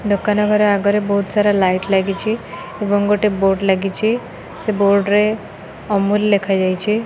ଦୋକାନ ଘର ଆଗରେ ବହୁତ ସାରା ଲାଇଟ୍ ଲାଗିଛି ଏବଂ ଗୋଟେ ବୋର୍ଡ଼ ଲାଗିଛି ସେ ବୋର୍ଡ ରେ ଅମୂଲ୍ ଲେଖା ଯାଇଛି।